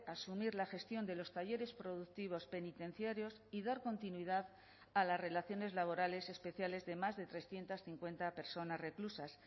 asumir la gestión de los talleres productivos penitenciarios y dar continuidad a las relaciones laborales especiales de más de trescientos cincuenta personas reclusas